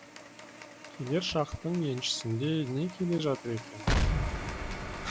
келер шақтың еншісінде не келе жатыр екен